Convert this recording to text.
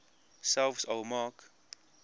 selfs al maak